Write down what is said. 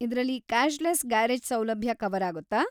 ಇದ್ರಲ್ಲಿ cashless garage ಸೌಲಭ್ಯ cover ಆಗುತ್ತಾ?